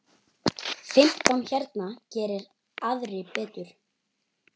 Fimmtán hérna, geri aðrir betur!